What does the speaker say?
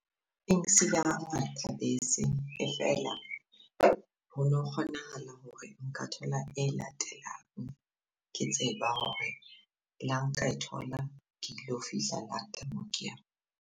Thabetse e fela hono kgonahala hore nka thola e latelang, ke tseba hore le ha nka thola, ke tlo fihla late moo ke yang.